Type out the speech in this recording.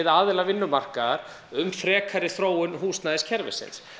aðila vinnumarkaðar um frekari þróun húsnæðiskerfisins